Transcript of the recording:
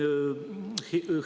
Aitäh!